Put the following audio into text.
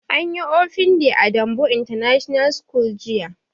Anyi open day a danbo international school jiya